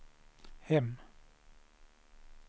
hem